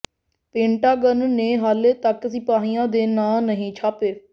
Pentagon ਨੇ ਹਾਲੇ ਤੱਕ ਸਿਪਾਹੀਆਂ ਦੇ ਨਾਂ ਨਹੀਂ ਛਾਪੇ